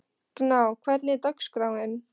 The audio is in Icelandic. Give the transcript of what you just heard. Gná, hvernig er dagskráin?